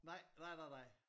Nej nej nej nej